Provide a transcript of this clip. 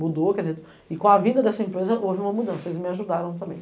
Mudou, quer dizer, e com a vinda dessa empresa houve uma mudança, eles me ajudaram também.